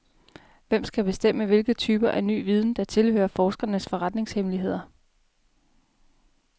Hvem skal bestemme, hvilke typer af ny viden, der tilhører forskernes forretningshemmeligheder?